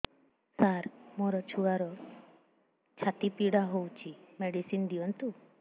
ସାର ମୋର ଛୁଆର ଛାତି ପୀଡା ହଉଚି ମେଡିସିନ ଦିଅନ୍ତୁ